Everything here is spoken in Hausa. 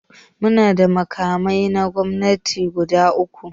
Muna da makamai na gwamnati guda uku.